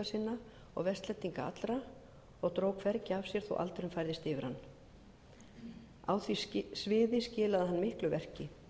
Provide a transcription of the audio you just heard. og vestlendinga allra og dró hvergi af sér þótt aldurinn færðist yfir hann á því sviði skilaði hann miklu verki